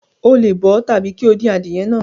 O le bọ ọ tabi ki o dín adìye náà.